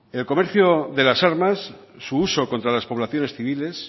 el comercio de las armas su uso contra las poblaciones civiles